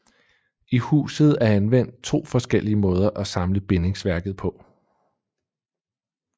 I huset er anvendt to forskellige måder at samle bindingsværket på